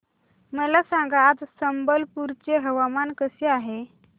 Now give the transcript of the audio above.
मला सांगा आज संबलपुर चे हवामान कसे आहे